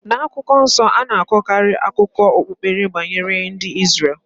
Na akwukwo nso, a na-akọkarị akụkọ okpukpe banyere ndị Izrel.